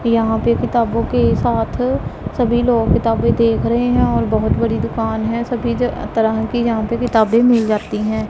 यहां पे किताबों के साथ सभी लोग किताबें देख रहें हैं और बहुत बड़ी दुकान है सभी ज तरह की यहां पे किताबें मिल जाती हैं।